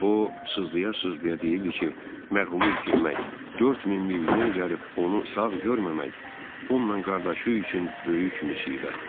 O sızlaya-sızlaya deyirdi ki, mərhumu itirmək, 4000 mil yol gəlib onu sağ görməmək, onunla qardaşı üçün böyük müsibətdir.